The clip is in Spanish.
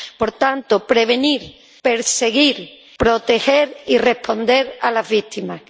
Por tanto, prevenir, perseguir, proteger y responder a las víctimas.